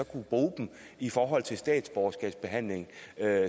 kunne bruge dem i forhold til statsborgerskabsbehandling